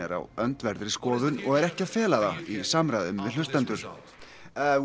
á öndverðri skoðun og er ekki að fela það í samræðum við hlustendur og